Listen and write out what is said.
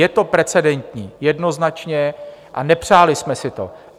Je to precedentní jednoznačně a nepřáli jsme si to.